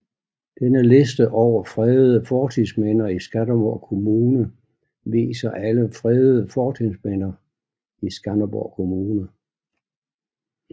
Denne liste over fredede fortidsminder i Skanderborg Kommune viser alle fredede fortidsminder i Skanderborg Kommune